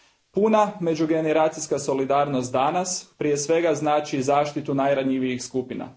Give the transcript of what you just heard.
Puna međugeneracijska solidarnost danas, prije svega, znači zaštitu najranjivijih skupina.